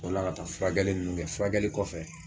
O la ka taa furakɛli ninnu kɛ, furakɛli kɔfɛ